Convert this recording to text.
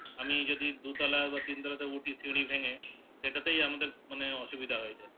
আমি যদি দুতালা বা তিনতালা উঠি সিঁড়ি ভেগে সেটাতেই আমাদের মানে অসুবিধা হয়